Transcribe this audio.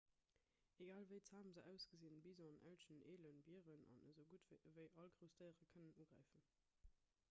egal wéi zam se ausgesinn bisonen elchen elen bieren an esougutt ewéi all grouss déiere kënnen ugräifen